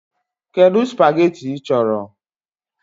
Kedu spageetí ị chọrọ?